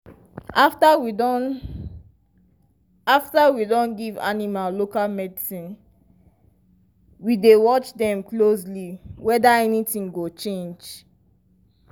after we don after we don give animal local medicine we dey watch dem closely whether anything go change.